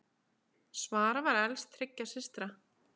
Svala var elst þriggja systra.